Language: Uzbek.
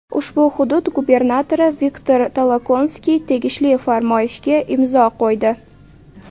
Ushbu hudud gubernatori Viktor Tolokonskiy tegishli farmoyishga imzo qo‘ydi.